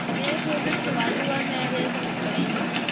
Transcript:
ਮੇਰੇ favorite ਤਾਂ ਵਾਦੁ ਹੈ ਮੇਰੇ ਤਾਂ ਮੁਕੜੇ ਹੀ ਨਹੀਂ